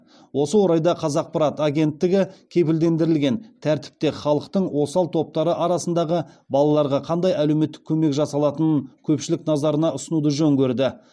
осы орайда қазақпарат агенттігі кепілдендірілген тәртіпте халықтың осал топтары арасындағы балаларға қандай әлеуметтік көмек жасалатынын көпшілік назарына ұсынуды жөн көрді